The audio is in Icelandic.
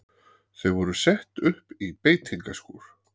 Þau voru sett upp í beitingaskúr.